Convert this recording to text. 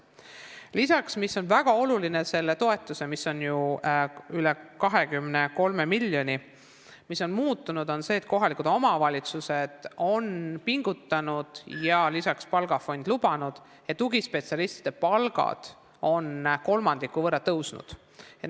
Lisaks sellele väga olulisele toetusele, mida on ju üle 23 miljoni, on muutunud see, et kohalikud omavalitsused on pingutanud ja palgafond on seda ka lubanud, et tugispetsialistide palku kolmandiku võrra tõsta.